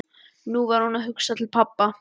Nú var hún að hugsa til pabba.